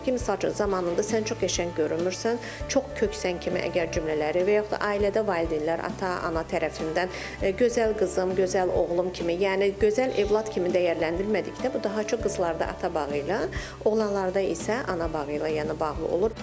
Misal üçün, zamanında sən çox qəşəng görünmürsən, çox köksən kimi əgər cümlələri və yaxud da ailədə valideynlər, ata, ana tərəfindən gözəl qızım, gözəl oğlum kimi, yəni gözəl övlad kimi dəyərləndirmədikdə bu daha çox qızlarda ata bağı ilə, oğlanlarda isə ana bağı ilə, yəni bağlı olur.